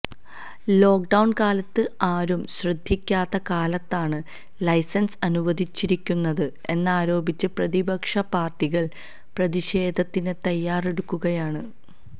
lockdown കാലത്ത് ആരും ശ്രദ്ധിക്കാത്ത കാലത്താണ് ലൈസന്സ് അനുവദിച്ചിരിക്കുന്നത് എന്നാരോപിച്ച് പ്രതിപക്ഷ പാര്ട്ടികള് പ്രതിഷേധത്തിന് തയ്യാറെടുക്കുകയാണ്